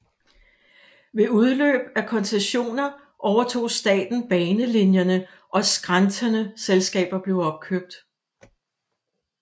Ved udløb af koncessioner overtog staten banelinierne og skrantende selskaber blev opkøbt